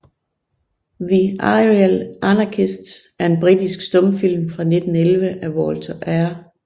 The Aerial Anarchists er en britisk stumfilm fra 1911 af Walter R